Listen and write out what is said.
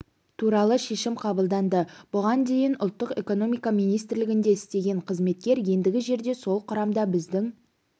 туралы шешім қабылданды бұған дейін ұлттық экономика министрлігінде істеген қызметкер ендігі жерде сол құрамда біздің